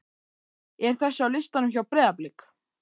er þessi á listanum hjá Breiðablik?